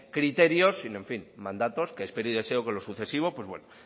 criterios sino mandatos que espero y deseo que en lo sucesivo